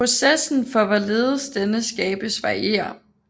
Processen for hvorledes denne skabes varierer